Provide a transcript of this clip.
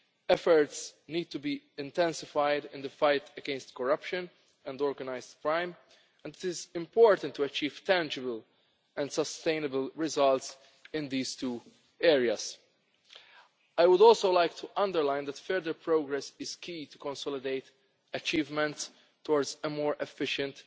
Efforts need to be intensified in the fight against corruption and organised crime, and it is important to achieve tangible and sustainable results in these two areas. I would also like to underline that further progress is key to consolidate achievements towards a more efficient,